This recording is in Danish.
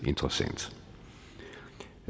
interessant